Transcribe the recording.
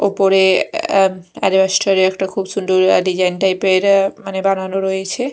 ওপরে অ্যা স্টোর -এ খুব সুন্দর অ্যা ডিজাইন টাইপ -এর অ্যা মানে বানানো রয়েছে।